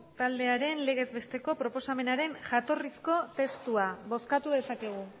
taldearen legez besteko proposamenaren jatorrizko testua bozkatu dezakegu